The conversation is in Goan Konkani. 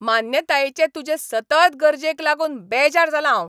मान्यतायेचे तुजे सतत गरजेक लागून बेजार जालां हांव.